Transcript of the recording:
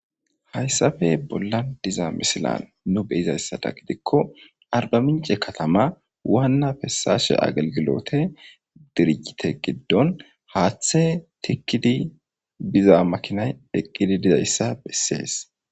Hayssape bollan diza misilan nu beyizayssada gidikko arba mince katama waanna fessashe agelgilote dirijite giddon haaththe tikkidi biza makinay diqqidi dizayssa bessees